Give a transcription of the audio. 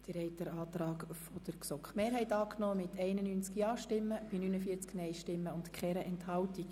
Sie haben den Antrag GSoK-Mehrheit und Regierungsrat angenommen mit 91 Ja- bei 49 Nein-Stimmen bei keiner Enthaltung.